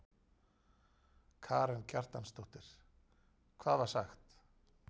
Karen Kjartansdóttir: Hvað var sagt?